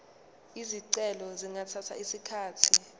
izicelo zingathatha isikhathi